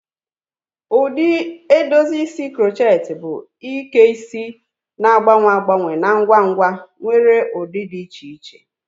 Ụdị edozi isi crochet bụ Ike isi na-agbanwe agbanwe na ngwa ngwa nwere ụdị dị iche iche.